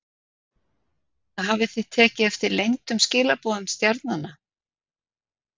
Hafið þið tekið eftir leyndum skilaboðum stjarnanna?